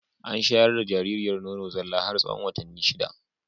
An shayar da jaririyar nono zalla har tsahon watanni shida.